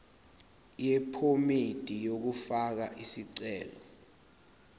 yephomedi yokufaka isicelo